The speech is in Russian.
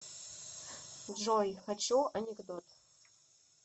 джой хочу анекдот